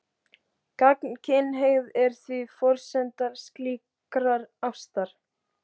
Gagnkynhneigð er því forsenda slíkrar ástar.